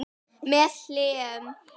Síminn hringdi um leið.